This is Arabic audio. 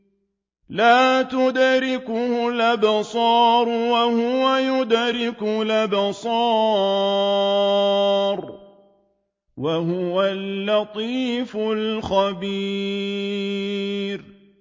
لَّا تُدْرِكُهُ الْأَبْصَارُ وَهُوَ يُدْرِكُ الْأَبْصَارَ ۖ وَهُوَ اللَّطِيفُ الْخَبِيرُ